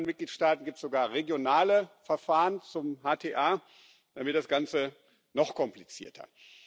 In einzelnen Mitgliedstaaten gibt es sogar regionale Verfahren zum HTA, dann wird das Ganze noch komplizierter.